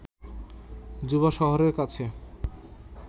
Juba শহরের কাছে